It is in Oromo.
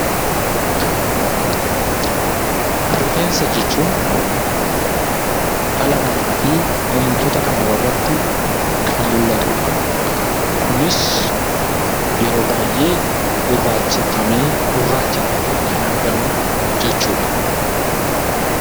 Rifeensa jechuun dhala namaa fi bineensota irratti kan mul'atudha. Kunis yeroo baay'ee gurraacha ta'ee kan argamudha.